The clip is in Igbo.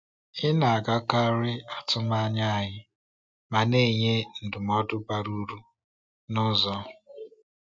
Ị na-agakarị atụmanya anyị ma na-enye ndụmọdụ bara uru n’ụzọ.